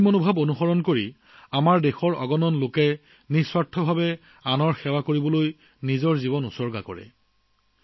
এই মূল্যবোধত বিশ্বাসী আমাৰ দেশৰ অগণন লোকে নিস্বাৰ্থভাৱে আনৰ সেৱাত নিজৰ মনপ্ৰাণ সমৰ্পণ কৰিছে